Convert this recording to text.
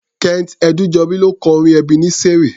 Kent Ẹdúnjọbí ló kọ orin Ẹbeneseri.